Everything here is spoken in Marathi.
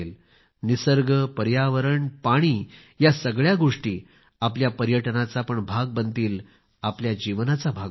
निसर्ग पर्यावरण पाणी ह्या सगळ्या गोष्टी आपल्या पर्यटनाचा पण भाग बनतील जीवनाचा भाग बनतील